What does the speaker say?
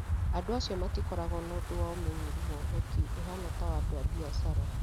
Andũ acio matikoragwo na ũndũ wa ũmenyeru wa ũhoti ũhaana ta wa andũ a biacara.